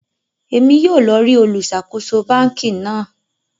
Èmí yóò lọ rí olu ṣàkóso bánkì náà